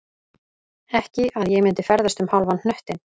Ekki að ég myndi ferðast um hálfan hnöttinn